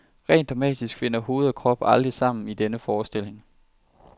Rent dramatisk finder hoved og krop aldrig sammen i denne forestilling.